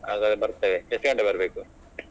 ಹಾಗಾದ್ರೆ ಬರ್ತೇವೆ ಎಷ್ಟು ಗಂಟೆ ಬರ್ಬೇಕು?